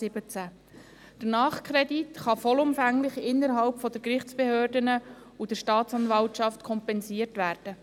Der Nachkredit kann vollumfänglich innerhalb der Gerichtsbehörden und der Staatsanwaltschaft kompensiert werden.